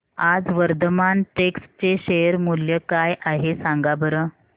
आज वर्धमान टेक्स्ट चे शेअर मूल्य काय आहे सांगा बरं